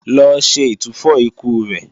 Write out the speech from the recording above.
Lọ ṣe ìtúfọ̀ ikú rẹ̀!